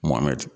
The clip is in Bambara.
Mɔmɛ